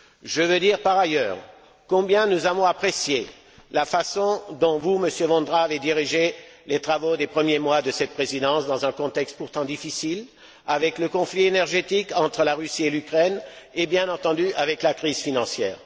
Je veux dire par ailleurs combien nous avons apprécié la façon dont vous, Monsieur Vondra, avez dirigé les travaux des premiers mois de cette présidence dans un contexte pourtant difficile, avec le conflit énergétique entre la Russie et l'Ukraine et, bien entendu, avec la crise financière.